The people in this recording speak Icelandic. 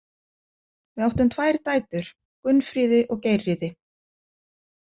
Við áttum tvær dætur: Gunnfríði og Geirríði.